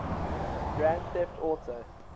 grand theft auto